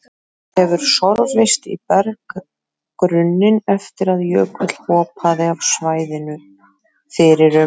Það hefur sorfist í berggrunninn eftir að jökull hopaði af svæðinu fyrir um